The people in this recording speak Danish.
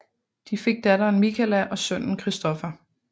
De fik datteren Michala og sønnen Christopher